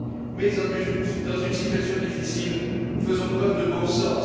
Mais dans une situation difficile, faisons preuve de bon sens.